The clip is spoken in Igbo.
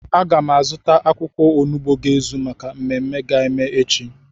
Aga m azụta akwụkwọ onugbu ga-ezu maka mmemme a ga-eme echi